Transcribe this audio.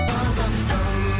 қазақстан